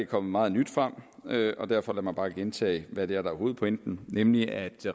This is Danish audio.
kommet meget nyt frem derfor vil jeg bare gentage hvad der er hovedpointen nemlig at